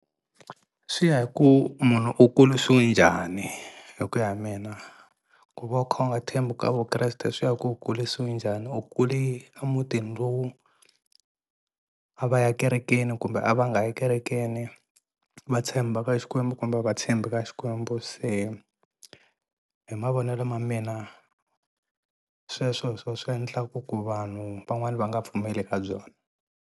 Swi ya hi ku munhu u kulisiwe njhani hi ku ya hi mina ku va u kha u nga thembi u ka Vukreste swi ya ku u kulisiwe njhani u kule a mutini lowu a va ya kerekeni kumbe a va nga yi kerekeni va tshemba ka Xikwembu kumbe a va tshembi ka Xikwembu se hi mavonelo ma mina sweswo hi swo swi endlaka ku vanhu van'wani va nga pfumeli ka byona.